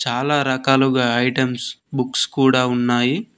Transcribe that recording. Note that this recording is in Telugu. చాలా రకాలుగా ఐటమ్స్ బుక్స్ కూడా ఉన్నాయి.